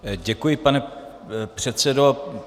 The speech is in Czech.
Děkuji, pane předsedo.